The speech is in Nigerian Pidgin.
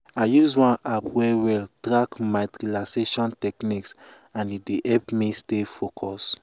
i use one app well well track my relaxation techniques and e help me stay focus.